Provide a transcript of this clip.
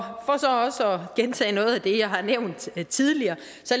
gentage noget af det jeg har nævnt tidligere